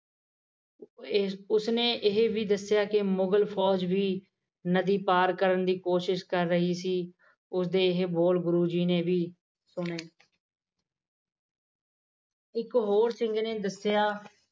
ਉਸਨੇ ਇਹ ਵੀ ਦੱਸਿਆ ਕਿ ਮੁਗਲ ਫੌਜ ਵੀ ਨਦੀ ਪਾਰ ਕਰਨ ਦੀ ਕੋਸ਼ਿਸ ਕਰ ਰਹੀ ਸੀ ਉਸਦੇ ਇਹ ਬੋਲ ਗੁਰੂ ਜੀ ਨੇ ਵੀ ਸੁਣੇ ਇੱਕ ਹੋਰ ਸਿੰਘ ਨੇ ਦੱਸਿਆ